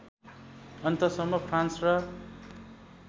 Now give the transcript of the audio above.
अन्तसम्म फ्रान्स र